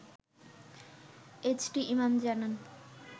HT Imam জানান